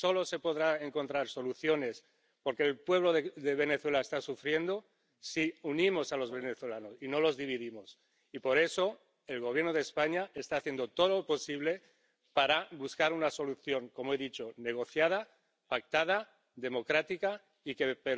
Solo se podrán encontrar soluciones —porque el pueblo de Venezuela está sufriendo— si unimos a los venezolanos y no los dividimos, y por eso el Gobierno de España está haciendo todo lo posible para buscar una solución ―como he dicho― negociada, pactada, democrática, y que le permita...